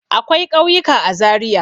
Akwai ƙauyuka a Zariya.